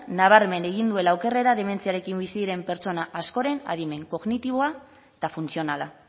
nabarmen egin duela okerrera dementziarekin bizi diren pertsona askoren adimen kognitiboa eta funtzionala